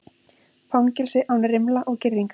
Fangelsi án rimla og girðinga